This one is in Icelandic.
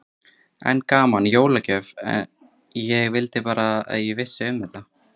Enn gaman, jólagjöf, ég vildi bara að ég vissi um þetta.